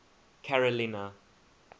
carolina